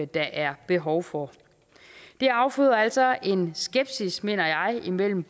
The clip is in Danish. der er behov for der afføder altså en skepsis mener jeg mellem